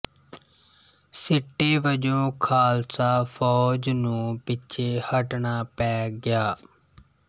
ਸਿੱਟੇ ਵਜੋਂ ਖਾਲਸਾ ਫੌਜ ਨੂੰ ਪਿੱਛੇ ਹਟਣਾ ਪੈ ਗਿਆ